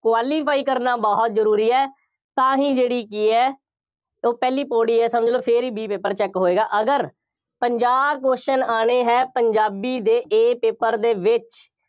qualify ਕਰਨਾ ਬਹੁਤ ਜ਼ਰੂਰੀ ਹੈ। ਤਾਂ ਹੀ ਜਿਹੜੀ ਕਿ ਹੈ, ਉਹ ਪਹਿਲੀ ਪੌੜੀ ਹੈ, ਸਮਝ ਲਓ, ਫੇਰ ਹੀ B paper check ਹੋਏਗਾ, ਅਗਰ ਪੰਜਾਹ question ਆਉਣੇ ਹੈ, ਪੰਜਾਬੀ ਦੇ A paper ਦੇ ਵਿੱਚ,